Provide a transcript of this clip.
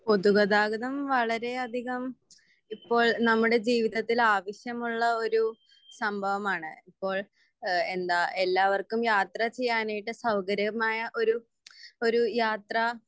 പൊതുഗതാഗതം വളരെ അധികം ഇപ്പോൾ നമ്മുടെ ജീവിതത്തിൽ ആവശ്യമുള്ള ഒരു സംഭവമാണ് ഇപ്പോൾ ഏഹ് എന്താ എല്ലാവർക്കും യാത്ര ചെയ്യനായിട്ട് സൗകര്യമായ ഒരു ഒരു യാത്ര